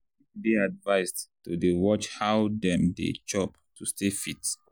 people dey advised to dey watch how dem dey chop to stay healthy.